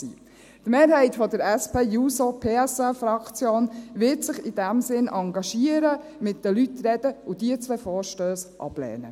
Die Mehrheit der SPJUSO-PSA-Fraktion wird sich in diesem Sinn engagieren, mit den Leuten reden und diese zwei Vorstösse ablehnen.